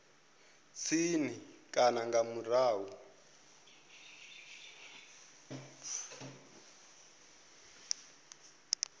tsini na kana nga murahu